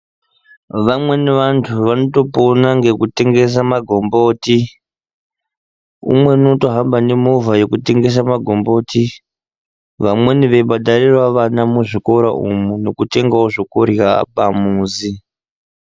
Vamweni vantu vanopona ngekutengesa magomboti umweni unotohamba nemovha yekutengesa magomboti vamweni veibhadharirawo vana muzvikora umu nekutengawo zvekurya pamuzi.